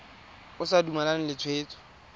o sa dumalane le tshwetso